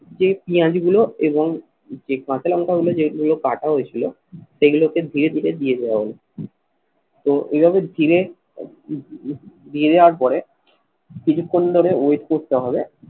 যে পেঁয়াজগুলো এবং যে কাঁচা লঙ্কাগুলো যেগুলো কাটা হয়েছিল সেগুলোকে ধীরে ধীরে দিয়ে দেওয়া হলো তো এইভাবে ধীরে ধীরে দিয়ে দেওয়ার পরে কিছুক্ষণ ধরে wait করতে হবে